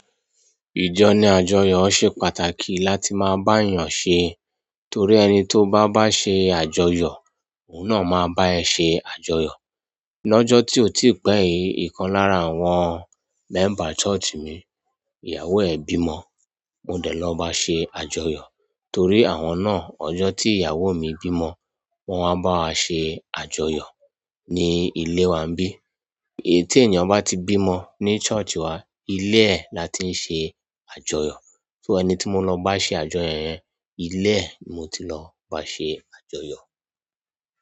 Ìjọ ní àjọyọ̀ ṣe pàtàkì láti máa bá èèyàn ṣe torí ẹni tó bá ń bá ṣe àjọyọ̀, òun náà máa bá ẹ ṣe àjọyọ̀. Lọ́jọ́ tí ò tíì pẹ́ yìí, ìkan lára àwọn mẹ́mbà ṣọ́ọ̀ṣì mi, ìyàwó ẹ̀ bímọ, mo dẹ̀ lọ bá a ṣe àjọyọ̀ torí àwọn náà ọjọ́ tí ìyàwó mi bímọ, wọ́n wá bá wa ṣe àjọyọ̀ ní ilé wá ńbí. Tí ènìyàn bá ti bímọ ní ṣọ́ọ̀ṣì wa, ilé ẹ̀ la ti ń ṣe àjọyọ̀. So ẹni tí mo lọ bá ṣe àjọyọ̀ yẹn, ilé ẹ̀ ni mo ti lọ bá ṣe àjọyọ̀.